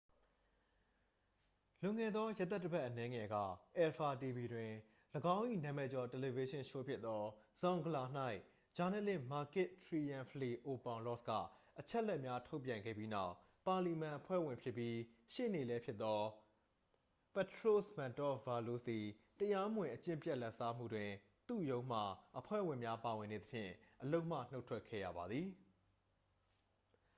"လွန်ခဲ့သောရက်သတ္တပတ်အနည်းငယ်က၊ အယ်ဖာ တီဗီ တွင် ၎င်း၏နာမည်ကျော်တယ်လီဗေးရှင်းရှိုးဖြစ်သော "zoungla" ၌ ဂျာနယ်လစ် မာကစ် တရီရန်ဖလီအိုပေါင်လော့စ်က အချက်အလက်များထုတ်ပြန်ခဲ့ပြီးနောက်၊ ပါလီမန်အဖွဲ့ဝင်ဖြစ်ပြီး ရှေ့နေလည်းဖြစ်သော ပထရို့စ် မန်တော့ဗာလို့စ်သည် တရားမဝင် အကျင့်ပျက်လာဘ်စားမှုတွင် သူ့ရုံးမှအဖွဲ့ဝင်များပါဝင်နေသဖြင့် အလုပ်မှနှုတ်ထွက်ခဲ့ရပါသည်။